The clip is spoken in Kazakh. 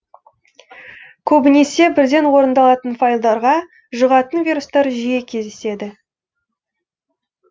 көбінесе бірден орындалатын файлдарға жүғатын вирустар жиі кездеседі